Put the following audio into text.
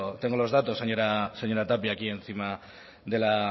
tengo los datos señora tapia aquí encima de la